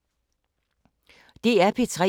DR P3